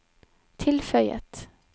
tilføyet